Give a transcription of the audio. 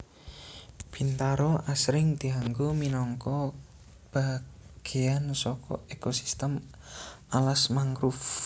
Bintaro asring dianggo minangka bagéyan saka ekosistem alas mangrove